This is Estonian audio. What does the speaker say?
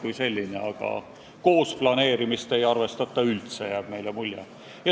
Aga meile jääb mulje, et koos planeerimist ei arvestata üldse.